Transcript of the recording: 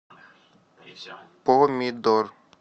помидор